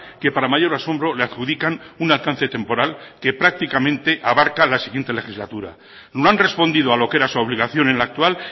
que para mayor asombro le adjudican un alcance temporal que prácticamente abarca la siguiente legislatura no han respondido a lo que era su obligación en la actual